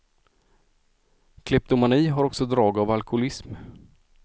Kleptomani har också drag av alkoholism.